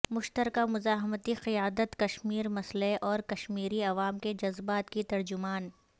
مشترکہ مزاحمتی قیادت کشمیرمسئلے اورکشمیری عوام کے جذبات کی ترجمان